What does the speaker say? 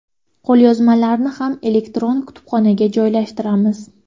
Qo‘lyozmalarni ham elektron kutubxonaga joylashtiramiz.